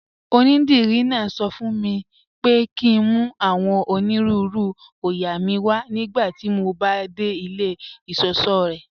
Ọnídírí náà sọ fún mí pé kí n mú awọn onírùúrù oóyà mí wà nigbàtí mó bá de ilẹ̀ ìṣọṣọ̀ rẹ́.